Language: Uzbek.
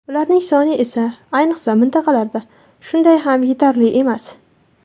Ularning soni esa, ayniqsa, mintaqalarda shunday ham yetarli emas.